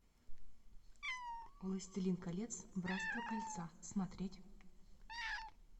властелин колец братство кольца смотреть